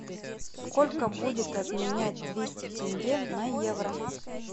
сколько будет обменять двести тенге на евро